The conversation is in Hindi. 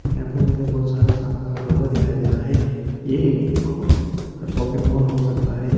यहां पे मुझे बहुत सारा सामान रखा हुआ दिखाई दे रहा है ये एक अह शॉपिंग मॉल हो सकता है।